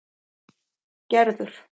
Gerður